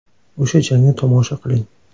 O‘sha jangni tomosha qiling !